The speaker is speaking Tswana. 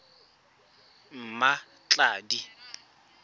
mmatladi